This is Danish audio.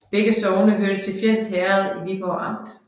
Begge sogne hørte til Fjends Herred i Viborg Amt